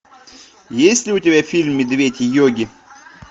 есть ли у тебя фильм медведь йоги